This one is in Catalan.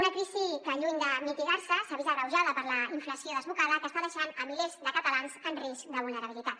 una crisi que lluny de mitigar se s’ha vist agreujada per la inflació desbocada que està deixant milers de catalans en risc de vulnerabilitat